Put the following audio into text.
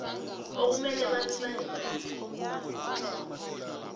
okumele babe balingani